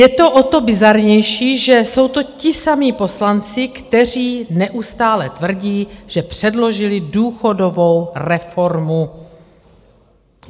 Je to o to bizarnější, že jsou to ti samí poslanci, kteří neustále tvrdí, že předložili důchodovou reformu.